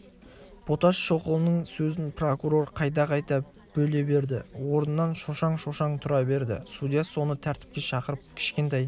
боташ шоқұлының сөзін прокурор қайта-қайта бөле берді орнынан шошаң-шошаң тұра берді судья оны тәртіпке шақырып кішкентай